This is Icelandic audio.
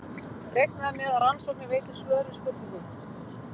Reiknað er með að rannsóknir veiti svör við spurningum.